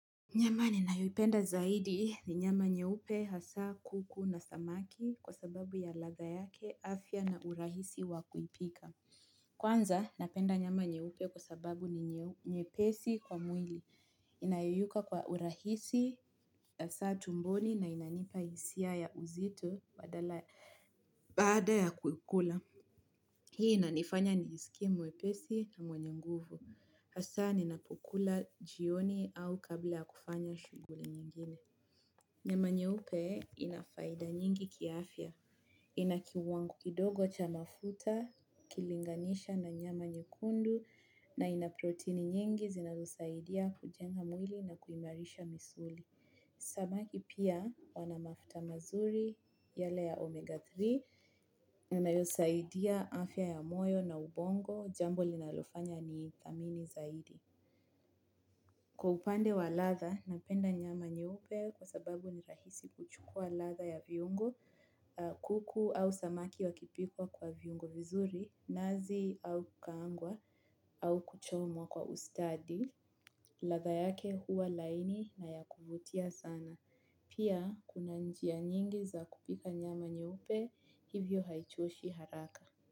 Nyama ninayoipenda zaidi ni nyama nyeupe hasaa kuku na samaki kwa sababu ya ladha yake afya na urahisi wa kuipika. Kwanza, napenda nyama nyeupe kwa sababu ni nyepesi kwa mwili. Inayeyuka kwa urahisi, hasa tumboni na inanipa hisia ya uzito badala baada ya kuikula. Hii inanifanya nijisikie mwepesi na mwenye nguvu. Hasa ninapukula jioni au kabla ya kufanya shughuli nyingine. Nyama nyeupe inafaida nyingi kiafya. Inakiwangu kidogo cha mafuta, ukilinganisha na nyama nyekundu na inaproteini nyingi zinazosaidia kujenga mwili na kuimarisha misuli. Samaki pia wanamafuta mazuri yale ya omega tatu. Inayosaidia afya ya moyo na ubongo jambo linalofanya ni idhamini zaidi. Kwa upande wa latha, napenda nyama nyeupe kwa sababu ni rahisi kuchukua ladha ya viungo, kuku au samaki wakipikwa kwa viungo vizuri, nazi au kukaangwa, au kuchomwa kwa ustadi, ladha yake huwa laini na ya kuvutia sana. Pia, kuna njia nyingi za kupika nyama nyeupe, hivyo haichoshi haraka.